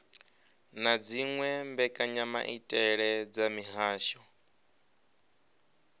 na dziwe mbekanyamaitele dza mihasho